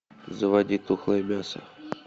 заводи тухлое мясо